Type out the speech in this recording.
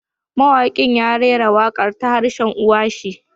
Mawakin ya rera wakar da harshen uwa shi